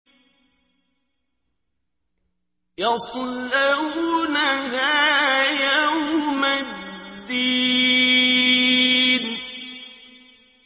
يَصْلَوْنَهَا يَوْمَ الدِّينِ